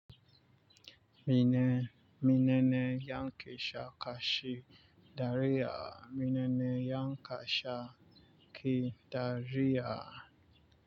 Mine, menene yankeesha kashi dariya? Menene yankasha ki dariya?